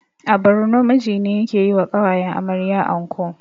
A borno miji ne yake yiwa ƙawayen amarya anko